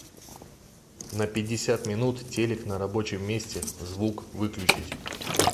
на пятьдесят минут телик на рабочем месте звук выключить